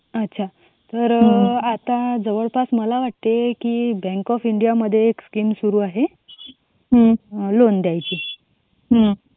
अच्छा तर आता जवळपास वाटते की बँक ऑफ इंडिया मध्ये स्कीम सुरू आहे. लोन द्यायची.